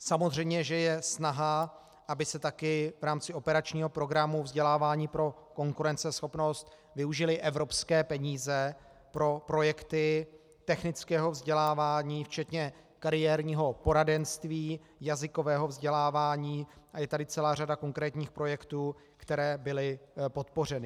Samozřejmě že je snaha, aby se taky v rámci operačního programu Vzdělávání pro konkurenceschopnost využily evropské peníze pro projekty technického vzdělávání včetně kariérního poradenství, jazykového vzdělávání, a je tady celá řada konkrétních projektů, které byly podpořeny.